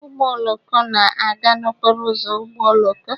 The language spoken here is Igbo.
Ụgbọ oloko na-aga n'okporo ụzọ ụgbọ oloko